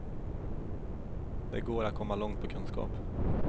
Det går att komma långt på kunskap.